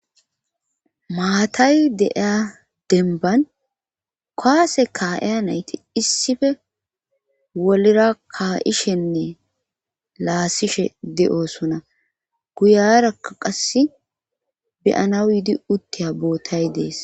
maatay deeya denban kuwase kaa7eya nayti issife wolira ka7ishenne laasishe de7osuna guyarakka qasse beyana yidi uttiya bootay dees